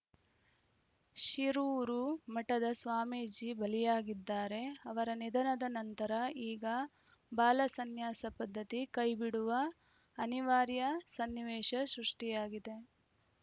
ಶಿರೂರು ಮಠದ ಸ್ವಾಮೀಜಿ ಬಲಿಯಾಗಿದ್ದಾರೆ ಅವರ ನಿಧನದ ನಂತರ ಈಗ ಬಾಲಸನ್ಯಾಸ ಪದ್ಧತಿ ಕೈಬಿಡುವ ಅನಿವಾರ್ಯ ಸನ್ನಿವೇಶ ಸೃಷ್ಟಿಯಾಗಿದೆ